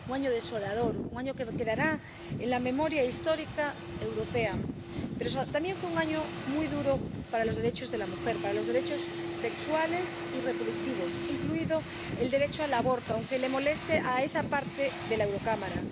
Un año desolador, un año que quedará en la memoria histórica europea. Pero también fue un año muy duro para los derechos de la mujer, para los derechos sexuales y reproductivos, incluido el derecho al aborto, aunque le moleste a esa parte de la Eurocámara.